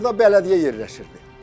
Burda bələdiyyə yerləşirdi.